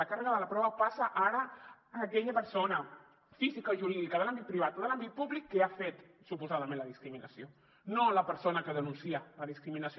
la càrrega de la prova passa ara a aquella persona física o jurídica de l’àmbit privat o de l’àmbit públic que ha fet suposadament la discriminació no a la persona que denuncia la discriminació